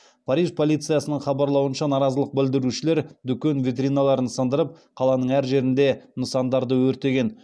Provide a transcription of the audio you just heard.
париж полициясының хабарлауынша наразылық білдірушілер дүкен витриналарын сындырып қаланың әр жерінде нысандарды өртеген